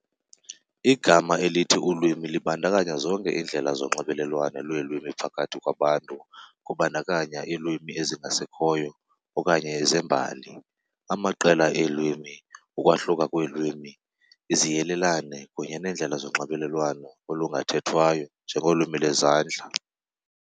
Igama elithi ulwimi libandakanya zonke iindlela zonxibelelwano lweelwimi phakathi kwabantu kubandakanya iilwimi ezingasekhoyo okanye zembali, amaqela eelwimi, ukwahluka kweelwimi, iziyelelane kunye neendlela zonxibelelwano olungathethwayo. njengolwimi lwezandla.